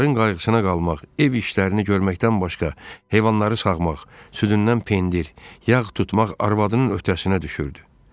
Onların qayğısına qalmaq, ev işlərini görməkdən başqa heyvanları sağmaq, südündən pendir, yağ tutmaq arvadının öhdəsinə düşürdü.